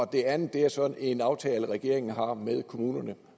det andet er så en aftale regeringen har med kommunerne